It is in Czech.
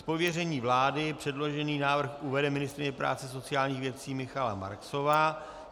Z pověření vlády předložený návrh uvede ministryně práce a sociálních věcí Michaela Marksová.